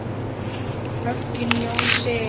Hogginn Jón Sig.